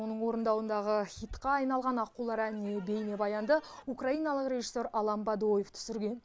оның орындауындағы хитқа айналған аққулар әніне бейнебаянды украиналық режиссер алан бадоев түсірген